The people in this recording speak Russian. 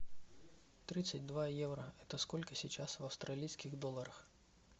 тридцать два евро это сколько сейчас в австралийских долларах